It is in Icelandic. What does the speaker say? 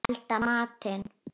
Elda matinn.